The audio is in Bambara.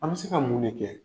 An bɛ se ka mun de kɛ?